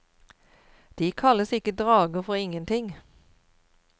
De kalles ikke drager for ingenting.